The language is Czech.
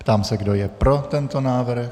Ptám se, kdo je pro tento návrh.